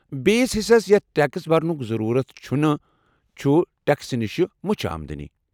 بیِس حصس یتھ ٹیكس برنُك ضروٗرت چُھنہٕ چُھ ٹیكسہٕ نِشہِ مُچھہِ آمدنی ۔